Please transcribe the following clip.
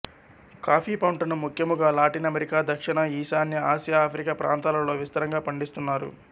coffee పంటను ముఖ్యముగా Latin America దక్షిణా ఈశాన్య ఆసియా ఆఫ్రికా ప్రాంతాలలో విస్తారంగా పండిస్తున్నారు